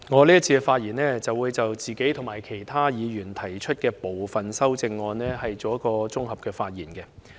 在這環節，我將會就我自己及其他議員提出的部分修正案作綜合發言。